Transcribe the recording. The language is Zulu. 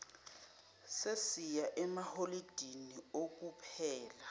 sesiya emaholidini okuphela